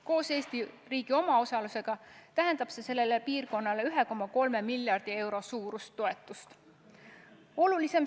Koos Eesti riigi omaosalusega tähendab see sellele piirkonnale 1,3 miljardi euro suurust toetust.